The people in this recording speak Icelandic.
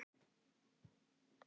Ég er ekkert að flýta mér.